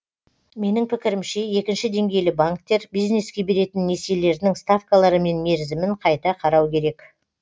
менің пікірімше екінші деңгейлі банктер бизнеске беретін несиелерінің ставкалары мен мерзімін қайта қарау керек